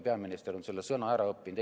Peaminister on selle sõna ära õppinud.